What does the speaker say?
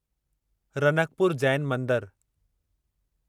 रनकपुर जैन मंदरु